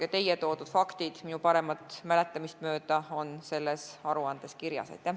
Ka teie toodud faktid on minu paremat mäletamist mööda selles aruandes kirjas.